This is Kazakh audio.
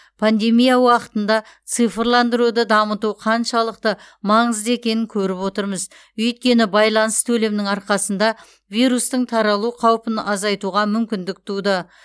пандемия уақытында цифрландыруды дамыту қаншалықты маңызды екенін көріп отырмыз өйткені байланыс төлемнің арқасында вирустың таралу қаупін азайтуға мүмкіндік туды